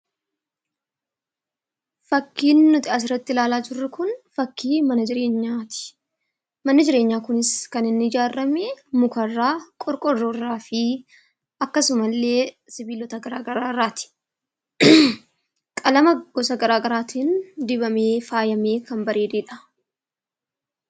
Fakkiin nuti asirratti ilaalaa jirru Kun, fakkii mana jireenyaati. Manni jireenyaa kunis kan inni ijaarame mukarraa, qorqoorroo irraa fi akkasuma illee sibiilota garaagaraa irratti. Qalama gosa garaagaraatiin dibamee faayamee kan bareededha.